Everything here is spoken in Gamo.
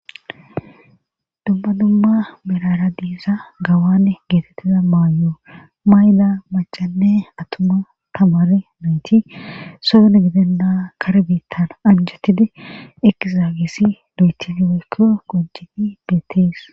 umma dumma mirara diiza gawane geetettiza maayo mayla macanne atuma tamare noyti sodone gidenna kar biittan anjotidi ekizaagisi loytidi weykko kojini beettees